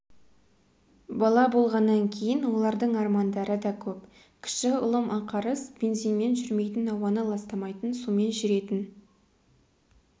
бала болғаннан кейін олардың армандары да көп кіші ұлым ақарыс бензинмен жүрмейтін ауаны ластамайтын сумен жүретін